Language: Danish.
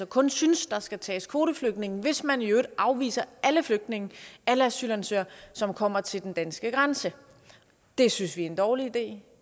kun synes der skal tages kvoteflygtninge hvis man i øvrigt afviser alle flygtninge alle asylansøgere som kommer til den danske grænse det synes vi er en dårlig idé